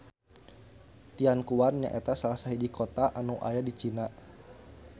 Tianquan nyaeta salah sahiji kota anu aya di Cina